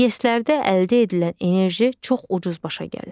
İES-lərdə əldə edilən enerji çox ucuz başa gəlir.